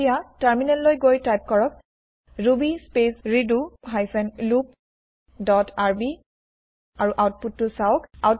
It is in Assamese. এতিয়া টাৰ্মিনেল লৈ গৈ টাইপ কৰক ruby space redo hyphen loop dot rb আৰু আউতপুতটো চাওঁক